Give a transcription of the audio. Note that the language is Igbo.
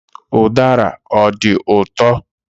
Udara ọ dị ụtọ?